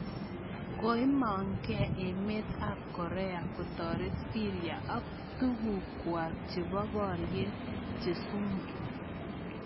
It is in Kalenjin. Koimang gee emet ab Korea kotoret Syria ak tuguk kwako chebo borier che sumu